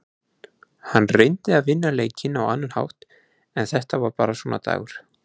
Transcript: Hann reyndi að vinna leikinn á annan hátt en þetta var bara svona dagur.